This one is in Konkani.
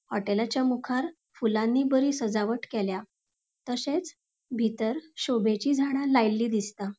होटलाच्या मुखार फुलानी बरी सजावट केल्या तशेच बितर शोभेची झाडा लायल्ली दिसता.